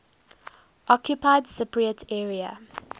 occupied cypriot area